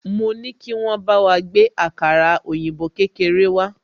Mo ní kí wọ́n bá wa gbé àkàrà òyìnbó kékeré wá